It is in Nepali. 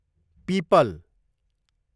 पिपल